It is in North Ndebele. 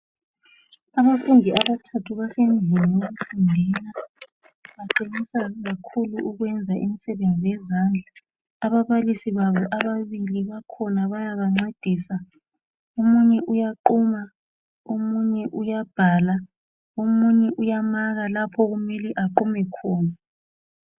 Abafundi abathathu basendlini yokufundela baqinisa kakhulu ukwenza imisebenzi yezandla ababalisi babo ababili bakhona bayabancedisa omunye uyaquma omunye uyabhala omunye uyamaka la okumele aqume khona.